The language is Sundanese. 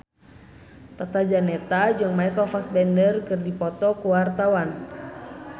Tata Janeta jeung Michael Fassbender keur dipoto ku wartawan